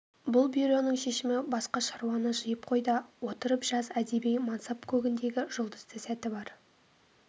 бұл бюроның шешімі басқа шаруаны жиып қой да отырып жаз әдеби мансап көгіндегі жұлдызды сәті бар